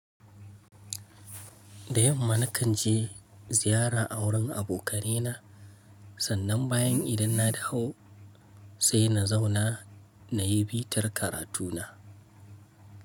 Da yamma na kan je ziyara a wurin abokanaina, sannan bayan idan na dahu sai na zauna na yi bitar karatu na.